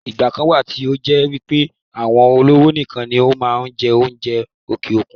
ìgbà kan wà tí ó jẹ́ wípé àwọn olówó nìkan ni wọ́n máa ń jẹ́ oúnjẹ òkè òkun